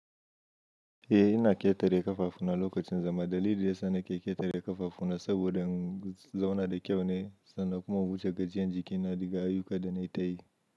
Eh ina ƙetare ƙafafuna lokacin zama. Dalili da yasa na ke ƙetare ƙafafuna saboda in zauna da kyau ne, sannan kuma in wuce gajiyan jikina da ga ayuka da nayi ta yi.